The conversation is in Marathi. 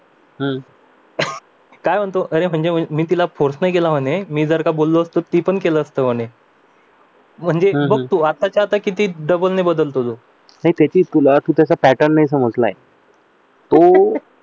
काय म्हणतो अरे म्हणजे तिला फोर्स नाही केला मी जर का बोललो तर तिने पण केल असत म्हणे म्हणजे आत्ताच्या आत्ता किती डबल ने बदलतो नाही त्याची तुलना त्याचा पॅटर्न नाही समजला तो